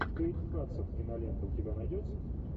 кейт хадсон кинолента у тебя найдется